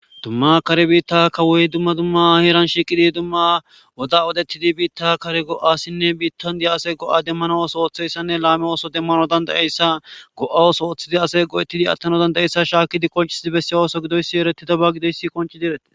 dumma kare biitta kawuyy dumma dumma heeran shiiqidi dumma woda odettidi biitta kare go7asinne biittan dia ase go7a demmano oso ootheyssanne laame ooso demmano dandayeyssa go7awos ooththidi ase go7ettidi attano danda7eyssa shaakkidi konchisidi besse ooso gidoyssi ereti daba gidoyssi qonchi direte